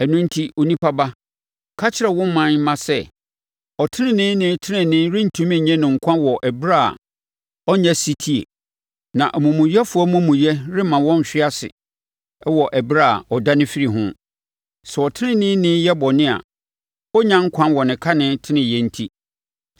“Ɛno enti onipa ba, ka kyerɛ wo ɔman mma sɛ, ‘Ɔteneneeni tenenee rentumi nye no nkwa wɔ ɛberɛ a ɔnnyɛ ɔsetie; na omumuyɛfoɔ amumuyɛ remma ɔnhwe ase wɔ ɛberɛ a ɔdane firi ho. Sɛ ɔteneneeni yɛ bɔne a, ɔrennya nkwa wɔ ne kane teneneeyɛ enti.’